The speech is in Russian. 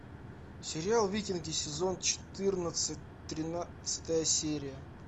сериал викинги сезон четырнадцать тринадцатая серия